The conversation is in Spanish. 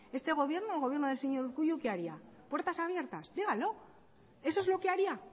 el gobierno del señor urkullu qué haría puertas abiertas díganlo eso es lo que haría